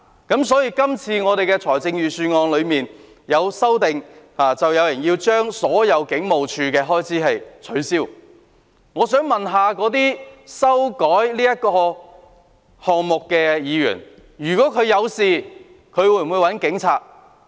有人就今次的預算案提出修正案，削減香港警務處的所有開支，我想問那些提出修正案的議員，如果他們出事，會否找警察？